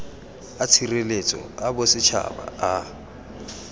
a tshireletso a bosetšhaba a